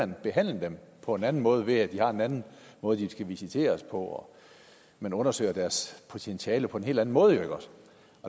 man behandle dem på en anden måde ved at de har en anden måde de skal visiteres på og man undersøger deres potentiale på en helt anden måde